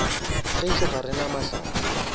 gešo ga re na mahlatse